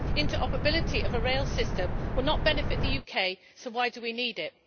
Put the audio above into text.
Interoperability of a rail system will not benefit the UK, so why do we need it?